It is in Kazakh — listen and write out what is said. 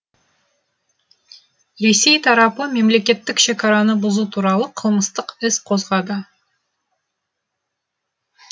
ресей тарапы мемлекеттік шекараны бұзу туралы қылмыстық іс қозғады